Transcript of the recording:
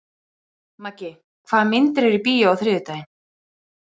Maggi, hvaða myndir eru í bíó á þriðjudaginn?